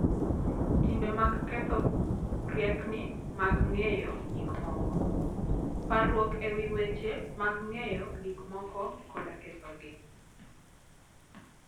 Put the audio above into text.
Timbe mag Ketho Riekni mag Ng'eyo Gik Moko: Parruok e wi weche mag ng'eyo gik moko koda kethogi.